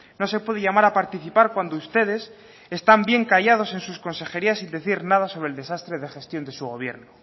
no se puede llamar a participar cuando ustedes están bien callados en sus consejerías sin decir nada sobre el desastre de gestión de su gobierno